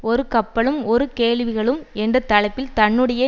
ஒரு கப்பலும் பல கேள்விகளும் என்ற தலைப்பில் தன்னுடைய